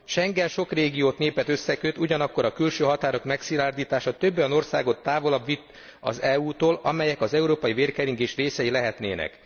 Schengen sok régiót, népet összeköt, ugyanakkor a külső határok megszilárdítása több olyan országot távolabb vitt az EU tól, amelyek az európai vérkeringés részei lehetnének.